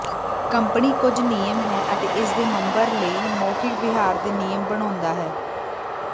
company ਕੁਝ ਨਿਯਮ ਹੈ ਅਤੇ ਇਸ ਦੇ ਮਬਰ ਲਈ ਮੌਖਿਕ ਵਿਹਾਰ ਦੇ ਨਿਯਮ ਬਣਾਉਦਾ ਹੈ